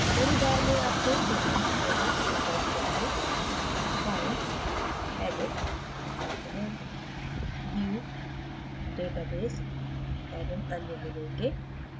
menu bar में आपको विभिन्न menu विकल्प जैसेfile edit component view database एवं अन्य मिलेंगे